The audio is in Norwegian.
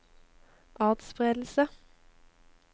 atspredelse